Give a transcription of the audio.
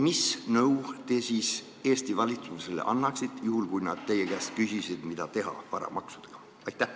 Mis nõu te Eesti valitsusele annaksite, kui nad teie käest küsiksid, mida varamaksudega teha?